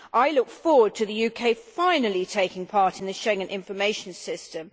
I look forward to the UK finally taking part in the Schengen Information System.